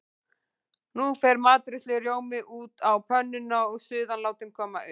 Nú fer matreiðslurjómi út á pönnuna og suðan látin koma upp.